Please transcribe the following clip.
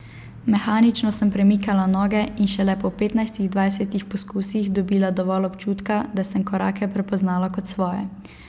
Mehanično sem premikala noge in šele po petnajstih, dvajsetih poskusih dobila dovolj občutka, da sem korake prepoznala kot svoje.